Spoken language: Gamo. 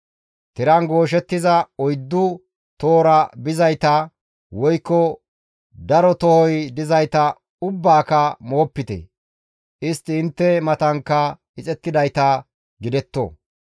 Tiran gooshettiza, oyddu tohora bizayta, woykko daro tohoy dizayta ubbaaka moopite; istti intte matankka ixettidayta gidetto.